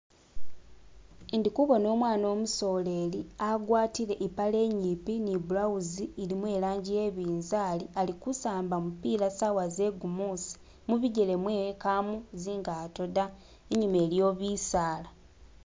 Ndikubona umwana umusololi agwatile impale inyimpi ni bulawuzi ilimo ilanzi iyabunzali alikusamba gumupila sawa zegumusi. Mubigele mwewe mpamo zingato da, inyuma iliyo bisala.